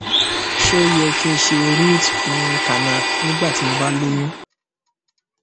ṣé ó yẹ kí n se root um canal nígbà tí mo ba loyún